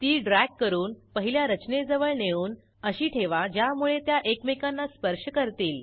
ती ड्रॅग करून पहिल्या रचनेजवळ नेऊन अशी ठेवा ज्यामुळे त्या एकमेकांना स्पर्श करतील